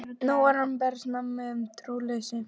Hann var nú að bregða manni um trúleysi.